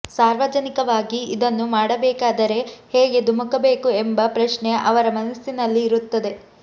ಸಾರ್ವಜನಿಕವಾಗಿ ಇದನ್ನು ಮಾಡಬೇಕಾದರೆ ಹೇಗೆ ಧುಮುಕಬೇಕು ಎಂಬ ಪ್ರಶ್ನೆ ಅವರ ಮನಸ್ಸಿನಲ್ಲಿ ಇರುತ್ತದೆ